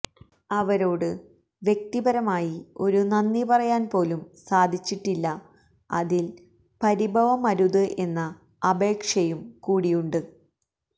അവരോട് വ്യക്തിപരമായി ഒരു നന്ദി പറയാൻ പോലും സാധിച്ചിട്ടില്ല അതിൽ പരിഭവം അരുത് എന്ന അപേക്ഷയും കൂടിയുണ്ട്